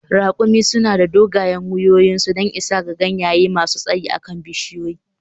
Ra`kumi suna da dogayen wuyoyinsu don isa ga ganye masu tsayi a kan bishiyoyi.